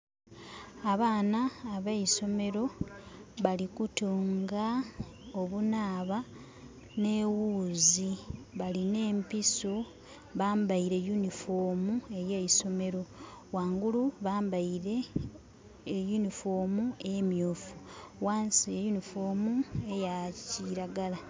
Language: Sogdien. Abaana abeisomero bali kutunga obunaaba nhi ghuzi, balina empiso bambaire yunifoomu eyeisomero, ghangulu bambaire eyunifoomu emyufu ghansi eyunifoomu eya kiragala.